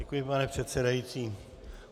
Děkuji, pane předsedající.